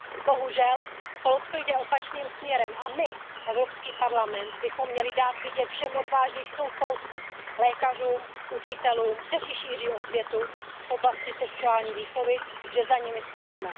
Bohužel, Polsko jde opačným směrem a my, Evropský parlament, bychom měli dát vědět všem odvážlivcům v Polsku, lékařům, učitelům, kteří šíří osvětu v oblasti sexuální výchovy, že za nimi stojíme.